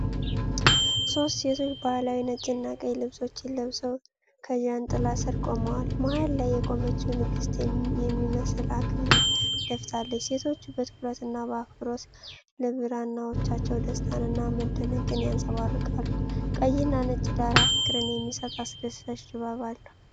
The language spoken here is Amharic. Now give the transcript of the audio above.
ሶስት ሴቶች ባህላዊ ነጭና ቀይ ልብሶችን ለብሰው ከጃንጥላ ስር ቆመዋል። መሃል ላይ የቆመችው ንግሥት የሚመስል አክሊል ደፍታለች። ሴቶቹ በትኩረትና በአክብሮት ለብራናዎቻቸው ደስታንና መደነቅን ያንጸባርቃሉ። ቀይና ነጭ ዳራ ፍቅርን የሚሰጥ አስደሳች ድባብ አለው።